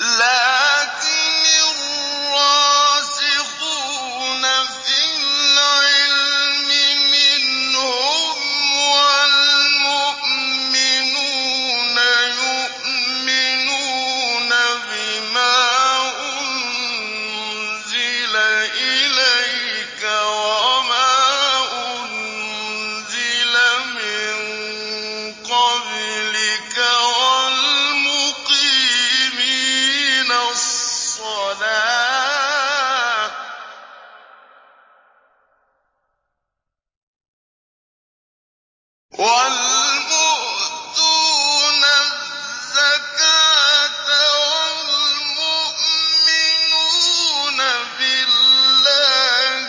لَّٰكِنِ الرَّاسِخُونَ فِي الْعِلْمِ مِنْهُمْ وَالْمُؤْمِنُونَ يُؤْمِنُونَ بِمَا أُنزِلَ إِلَيْكَ وَمَا أُنزِلَ مِن قَبْلِكَ ۚ وَالْمُقِيمِينَ الصَّلَاةَ ۚ وَالْمُؤْتُونَ الزَّكَاةَ وَالْمُؤْمِنُونَ بِاللَّهِ